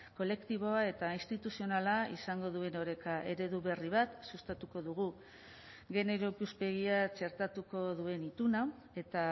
kolektiboa eta instituzionala izango duen oreka eredu berri bat sustatuko dugu genero ikuspegia txertatuko duen ituna eta